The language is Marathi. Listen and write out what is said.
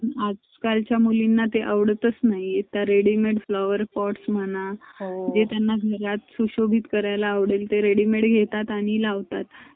पण यामध्ये जो ब तर आपन business करू